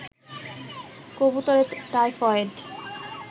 কবুতরের টাইফয়েড